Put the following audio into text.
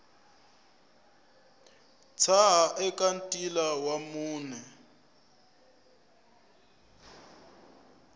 tshaha eka ntila wa mune